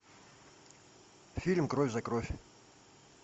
фильм кровь за кровь